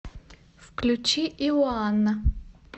включи иоана